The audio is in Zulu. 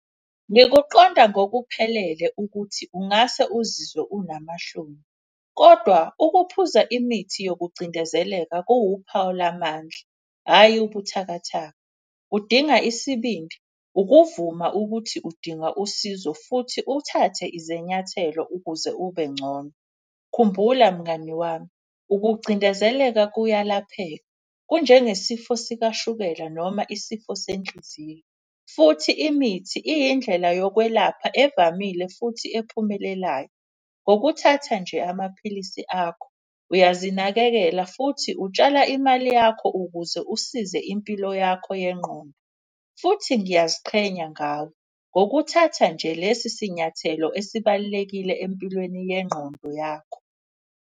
Ngikuqonda ngokuphelele ukuthi ungase uzizwe unamahloni, kodwa ukuphuza imithi yokucindezeleka kuwuphawu lamandla, hhayi ubuthakathaka. Kudinga isibindi, ukuvuma ukuthi udinga usizo futhi uthathe izinyathelo ukuze ube ngcono. Khumbula mngani wami, ukucindezeleka kuyalapheka kunje ngesifo sikashukela noma isifo senhliziyo. Futhi imithi iyindlela yokwelapha evamile futhi ephumelelayo. Ngokuthatha nje amaphilisi akho uyazinakekela futhi utshala imali yakho ukuze usize impilo yakho yengqondo. Futhi ngiyaziqhenya ngawe, ngokuthatha nje lesi sinyathelo esibalulekile empilweni yengqondo yakho.